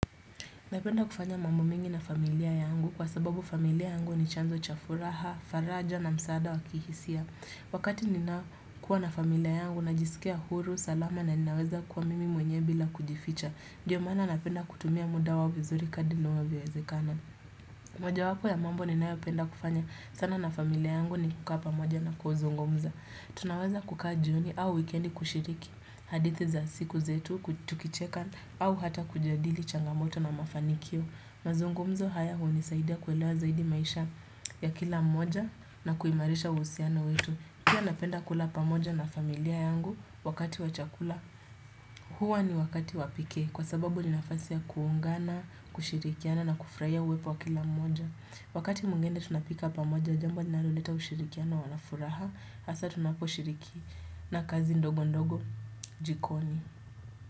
Napenda kufanya mambo mingi na familia yangu kwa sababu familia yangu ni chanzo cha furaha, faraja na msaada wa kihisia. Wakati ninakuwa na familia yangu najisikia huru, salama na ninaweza kuwa mimi mwenye bila kujificha. Ndio maana napenda kutumia muda wao vizuri kadri inayowezekana. Moja wapo ya mambo ninayopenda kufanya sana na familia yangu ni kukaa pamoja na kuzungumza. Tunaweza kukaa jioni au weekendi kushiriki, hadithi za siku zetu, tukicheka au hata kujadili changamoto na mafanikio. Mazungumzo haya hunisaidia kuelewa zaidi maisha ya kila mmoja na kuimarisha uhusiano wetu. Pia napenda kula pamoja na familia yangu wakati wa chakula. Huwa ni wakati wa pekee kwa sababu ni nafasi ya kuungana, kushirikiana na kufurahia uwepo wa kila mmoja. Wakati mwingine tunapika pamoja, jambo linaloleta ushirikiano na furaha Hasa tunaposhirikiana kazi ndogo ndogo jikoni.